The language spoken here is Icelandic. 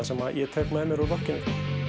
sem ég tek með mér úr rokkinu